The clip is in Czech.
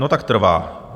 No, tak trvá?